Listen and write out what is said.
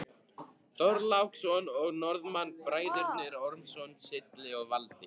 Þorláksson og Norðmann, Bræðurnir Ormsson, Silli og Valdi.